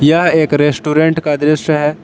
यह एक रेस्टोरेंट का दृश्य है।